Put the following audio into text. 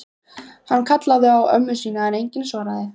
Hann kallaði á ömmu sína en enginn svaraði.